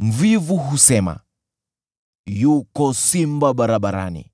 Mvivu husema, “Yuko simba barabarani,